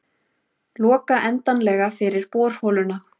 Loka endanlega fyrir borholuna